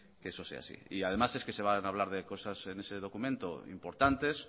que eso sea así además es que se van a hablar de cosas en ese documento importantes